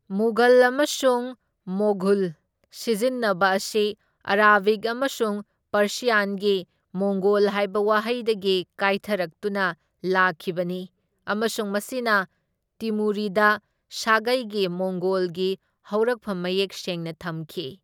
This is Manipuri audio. ꯃꯨꯘꯜ ꯑꯃꯁꯨꯡ ꯃꯣꯘꯨꯜ ꯁꯤꯖꯤꯟꯅꯕ ꯑꯁꯤ ꯑꯥꯔꯥꯕꯤꯛ ꯑꯃꯁꯨꯡ ꯄꯔꯁ꯭ꯌꯥꯟꯒꯤ ꯃꯣꯡꯒꯣꯜ ꯍꯥꯏꯕ ꯋꯥꯍꯩꯗꯒꯤ ꯀꯥꯏꯊꯔꯛꯇꯨꯅ ꯂꯥꯛꯈꯤꯕꯅꯤ, ꯑꯃꯁꯨꯡ ꯃꯁꯤꯅ ꯇꯤꯃꯨꯔꯤꯗ ꯁꯥꯒꯩꯒꯤ ꯃꯣꯡꯒꯣꯜꯒꯤ ꯍꯧꯔꯛꯐꯝ ꯃꯌꯦꯛ ꯁꯦꯡꯅ ꯊꯝꯈꯤ꯫